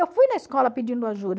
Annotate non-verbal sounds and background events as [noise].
Eu fui na escola pedindo [unintelligible]